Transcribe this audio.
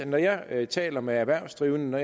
når jeg taler med erhvervsdrivende